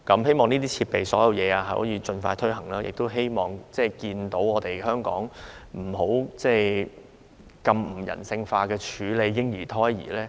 希望這些設備可以盡快應用，亦希望看到香港不要再用非人性方法處理嬰兒或胎兒遺骸。